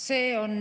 See on